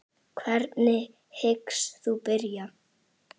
Hvernig hyggst þú byrja?